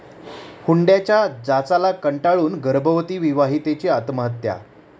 हुंड्याच्या जाचाला कंटाळून गर्भवती विवाहितेची आत्महत्या